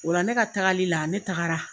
O la ne ka tagali la ne tagara.